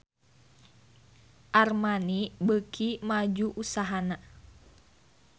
Armani beuki maju usahana